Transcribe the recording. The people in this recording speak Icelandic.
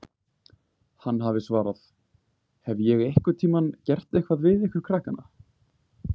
Hann hafi svarað: Hef ég einhvern tímann gert eitthvað við ykkur krakkana?